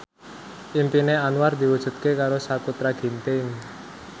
impine Anwar diwujudke karo Sakutra Ginting